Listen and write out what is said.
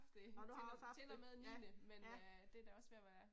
Nåh du har også haft det, ja ja